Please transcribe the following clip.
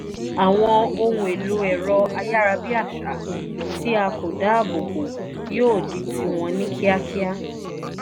àwọn ohun èlò èrọ ayárabíàṣá tí a kò dá ààbò bo yóò di tí wọn ní ní kíákíá